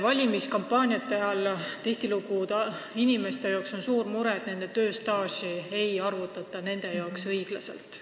Valimiskampaaniate ajal tihtilugu tuleb välja inimeste suur mure, et nende tööstaaži ei arvutata nende arvates õiglaselt.